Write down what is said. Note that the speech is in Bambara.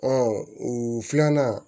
o filanan